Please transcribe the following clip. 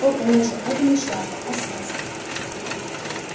о конечно это не шляпа а сказка